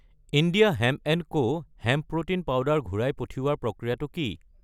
India hemp and co hemp protein powder ৰ ঘূৰাই পঠিওৱাৰ প্ৰক্ৰিয়াটো কি?